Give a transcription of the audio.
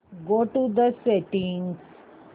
go to settings